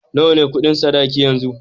Nawa ne Ƙudin sadaki yanzu?